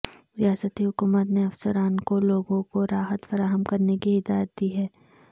ریاستی حکومت نے افسران کو لوگوں کو راحت فراہم کرنے کی ہدایت دی ہے